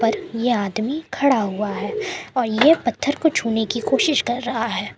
पर यह आदमी खड़ा हुआ है और ये पत्थर को छूने की कोशिश कर रहा है।